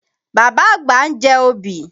Bàbá àgbà ń jẹ obì.